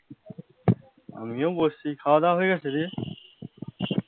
আমিও বসছি খাওয়া দাওয়া হয়ে গেছে, দিয়ে